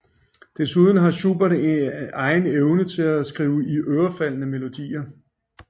Desuden havde Schubert en egen evne til at skrive iørefaldende melodier